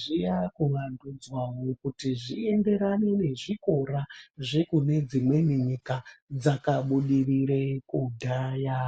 zvakuvandudzwawo kuti zvienderane nezvikora zvekune dzimweni nyika dzakabudirire kudhaya.